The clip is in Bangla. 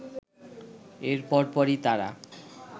এর পরপরই তারা